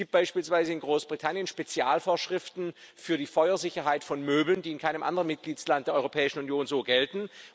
Es gibt beispielsweise in Großbritannien Spezialvorschriften für die Feuersicherheit von Möbeln, die in keinem anderen Mitgliedstaat der Europäischen Union so gelten.